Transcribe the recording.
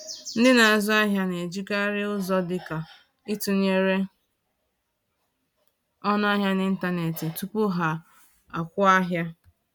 Ndị na-azụ ahịa na-ejikarị ụzọ dị ka ịtụnyere ọnụ ahịa n’ịntanetị tupu ha akwụ ahịa